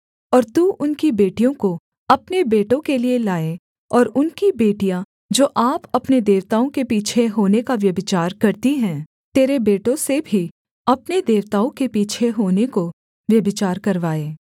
और तू उनकी बेटियों को अपने बेटों के लिये लाए और उनकी बेटियाँ जो आप अपने देवताओं के पीछे होने का व्यभिचार करती हैं तेरे बेटों से भी अपने देवताओं के पीछे होने को व्यभिचार करवाएँ